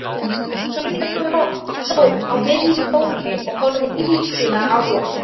Sonja stóð á miðju gólfi og horfði illskulega á hann.